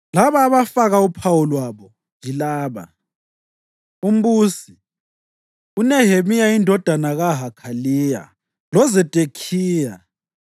Labo abafaka uphawu lwabo yilaba: Umbusi: uNehemiya indodana kaHakhaliya. LoZedekhiya,